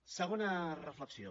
segona reflexió